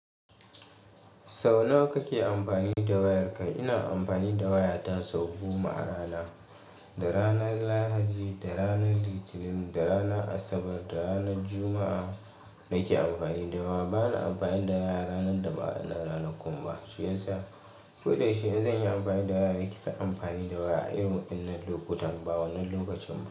Sau nawa kake amfani da wayarka? Ina amfani da wayata sau goma a rana, da ranar lahadi, da ranar litinin, da rana asabar, da ranar juma'a nake amfani da waya. Bana amfani da waya ranar daba anan ranar kumba, shi yasa. Ko da shi in zan yi amfani da waya, nake ta amfani da waya a irin wannan lokutan, ba wannan lokacin ba.